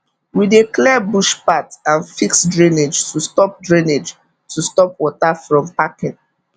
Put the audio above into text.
we dey clear bush path and fix drainage to stop drainage to stop water from packing